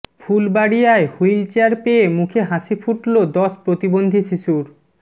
ফুলবাড়িয়ায় wheel chair পেয়ে মুখে হাসি ফুটল দশ প্রতিবন্ধী শিশুর